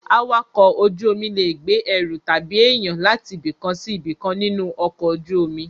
Awakọ̀ ojú omi lè gbé ẹru tàbí èyàn láti ibìkan sí ibìkan nínú ọkọ̀ ojú omi.